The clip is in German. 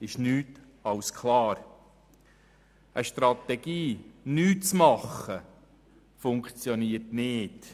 Eine Strategie, nichts zu tun, funktioniert nicht.